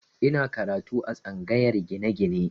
Ina karatu a tsangayar gine-gine